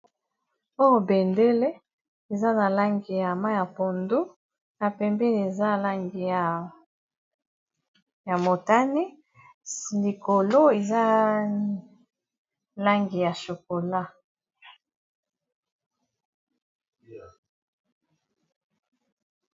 Oyo bendele eza na langi ya mayi ya pondu na pembeni eza langi ya motane likolo eza langi ya chokola.